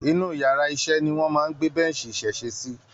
Inú yàrá iṣẹ́ ni wọ́n máa ń gbé bench ìsesẹ́ sí.